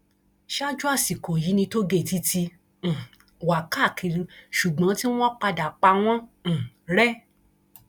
ṣáájú àsìkò yìí ni tóògéètì ti um wà káàkiri ṣùgbọn tí wọn padà pa wọn um rẹ